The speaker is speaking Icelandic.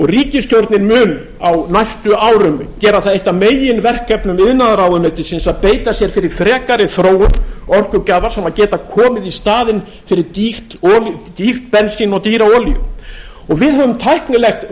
ríkisstjórnin mun á næstu árum gera það eitt af meginverkefnum iðnaðarráðuneytisins að beita sér fyrir frekari þróun orkugjafa sem geta komið í staðinn fyrir dýrt bensín og dýra olíu við höfum tæknilegt